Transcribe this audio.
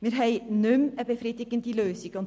Wir haben keine befriedigende Lösung mehr.